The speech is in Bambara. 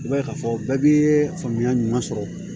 I b'a ye k'a fɔ bɛɛ b'i ye faamuya ɲuman sɔrɔ